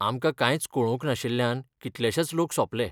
आमकां कांयच कळोवंक नाशिल्ल्यान कितलेशेंच लोक सोंपले.